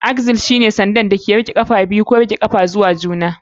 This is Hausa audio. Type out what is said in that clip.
Axle shine sanda ko sanda wanda ke haɗa ƙafafu biyu don motsa su da riƙe matsayin ƙafafun zuwa juna.